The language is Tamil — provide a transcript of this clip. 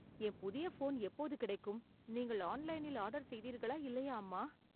என் புதிய போன் எப்போது கிடைக்கும், நீங்கள் ஆன்லைனில் ஆர்டர் செய்தீர்களா இல்லையா அம்மா